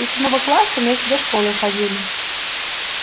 до седьмого класса вместе до школы ходили